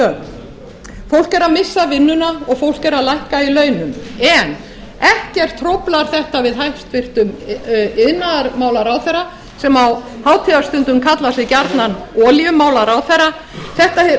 er að missa vinnuna og fólk er að lækka í launum en ekkert hróflar þetta við hæstvirtan iðnaðarmálaráðherra sem á hátíða stundum kallar sig gjarnan olíumálaráðherra þetta